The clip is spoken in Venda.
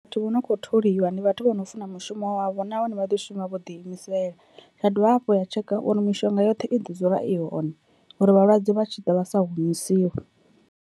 Vhathu vho no kho tholiwa ndi vhathu vho no funa mushumo wavho nahone vha ḓo shuma vho ḓi imisela, zwa dovha hafhu ya tshekha uri mishonga yoṱhe i ḓo dzula i hone uri vhalwadze vha tshi ḓa vha sa humusiwe.